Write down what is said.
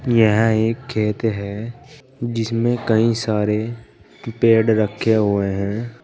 यह एक खेत है जिसमें कई सारे पेड़ रखे हुए हैं।